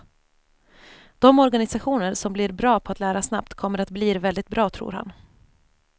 De organisationer som blir bra på att lära snabbt kommer att blir väldigt bra, tror han.